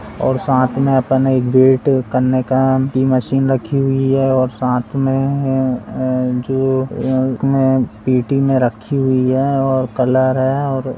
और साथ में अपना एक वेट करने का मशीन रखी हुई है साथ में जो पेटी में रखी हुई है और कलर है। और--